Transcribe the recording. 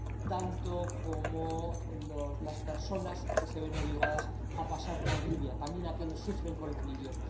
tanto como las personas que se ven obligadas a pasar por Libia, quienes sufren con los libios.